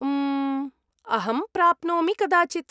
उम्म्, अहं प्राप्नोमि, कदाचित्।